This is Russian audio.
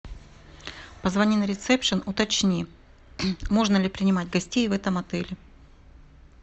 позвони на ресепшн уточни можно ли принимать гостей в этом отеле